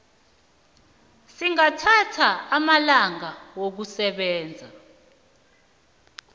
singathatha amalanga wokusebenza